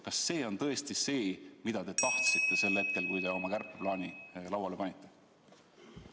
Kas see on tõesti see, mida te tahtsite sel hetkel, kui te oma kärpeplaani lauale panite?